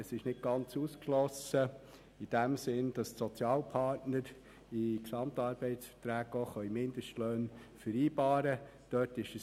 Es ist nicht ganz ausgeschlossen, dass die Sozialpartner in GAV auch Mindestlöhne vereinbaren können.